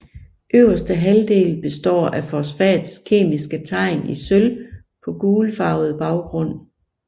Øverste halvdel består af fosfats kemiske tegn i sølv på gulfarvet baggrund